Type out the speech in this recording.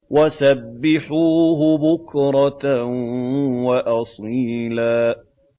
وَسَبِّحُوهُ بُكْرَةً وَأَصِيلًا